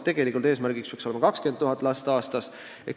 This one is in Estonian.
Tegelikult peaks eesmärk olema 20 000 last aastas.